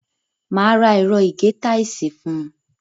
Máa ra ẹ̀rọ ìgé táìsì fún un.